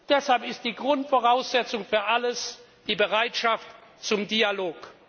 Deshalb ist die Grundvoraussetzung für alles die Bereitschaft zum Dialog.